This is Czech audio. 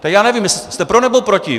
Tak já nevím, jste pro, nebo proti?